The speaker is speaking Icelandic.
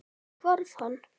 Svo hvarf hann.